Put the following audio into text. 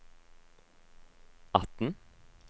atten